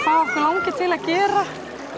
langi til að gera